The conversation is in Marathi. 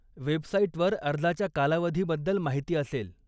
वेबसाईटवर अर्जाच्या कालावधीबद्दल माहिती असेल.